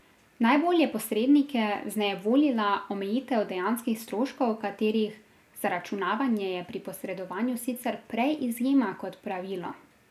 Najbolj je posrednike vznejevoljila omejitev dejanskih stroškov, katerih zaračunavanje je pri posredovanju sicer prej izjema kot pravilo.